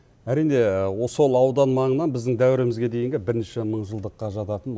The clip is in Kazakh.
әрине сол аудан маңынан біздің дәуірімізге дейінгі бірінші мыңжылдыққа жататын